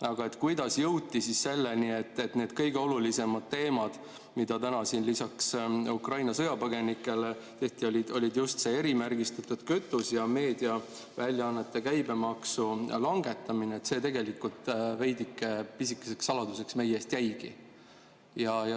Aga kuidas jõuti selleni, et need kõige olulisemad teemad, lisaks Ukraina sõjapõgenikele, olid just erimärgistatud kütus ja meediaväljaannete käibemaksu langetamine, see tegelikult pisikeseks saladuseks meile jäigi.